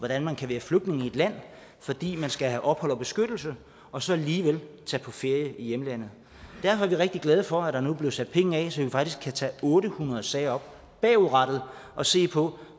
at man kan være flygtning i et land fordi man skal have ophold og beskyttelse og så alligevel tage på ferie i hjemlandet derfor er vi rigtig glade for at der nu bliver sat penge af så vi faktisk kan tage otte hundrede sager op bagudrettet og se på